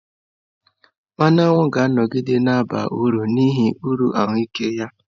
Mmanụ aṅụ ga-anọgide na-aba uru n'ihi uru ahụike ya.